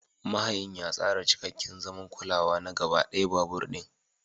Mahayin ya tsara cikakken zaman kulawa na gaba ɗaya babur ɗin.